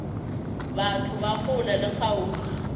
batho ba kgole le kgauswi